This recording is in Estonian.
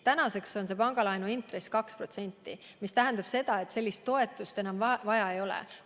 Tänaseks on pangalaenu intress 2%, mis tähendab seda, et sellist toetust enam vaja ei ole.